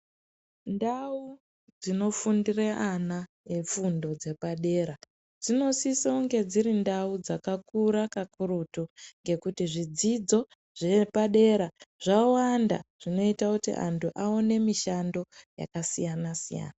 Ndau dzinofundira ana efundo yepadera dzinosisa kunge dziri ndau dzakakura kakurutu ngekuti nekuti zvidzidzo zvepadera zvawanda zvinoita kuti vantu vaone mishando yakasiyana siyana.